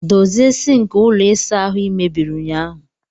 Dozie sink ụlọ ịsa ahụ ị mebiri ụnyaahụ!